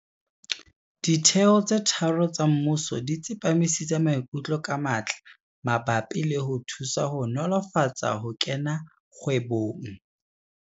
Ditheo tse tharo tsa mmuso di tsepamisitse maikutlo ka matla mabapi le ho thusa ho nolofatsa ho kena kgwebong.